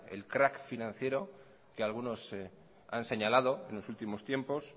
el crack financiero que algunos han señalado en los últimos tiempos